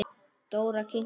Dóra kinkaði kolli.